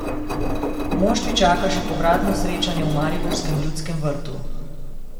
Moštvi čaka še povratno srečanje v mariborskem Ljudskem vrtu.